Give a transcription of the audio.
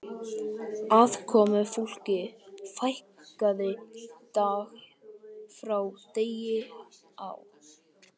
Aðkomufólki fækkaði dag frá degi á